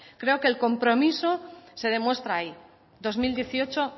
creo que el compromiso se demuestra ahí dos mil dieciocho